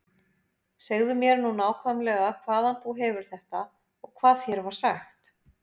Segðu mér nú nákvæmlega hvaðan þú hefur þetta og hvað þér var sagt.